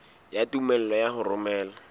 ya tumello ya ho romela